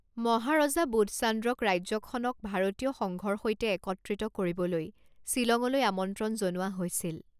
মহাৰজা বোধচান্দ্ৰক ৰাজ্যখনক ভাৰতীয় সংঘৰ সৈতে একত্ৰিত কৰিবলৈ শ্বিলঙলৈ আমন্ত্ৰণ জনোৱা হৈছিল।